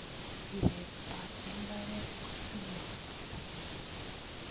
Siret ap imbaret ko siling' ata?